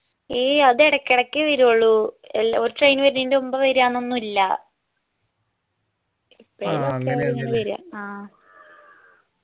എയ്യ് അത് എടക്ക് എടക്ക് വേരുള്ളൂ ഒരു train വേരുന്നെൻ്റെ മുമ്പ് വര്അന്ന ഒന്നുഇല്ല്യ ആ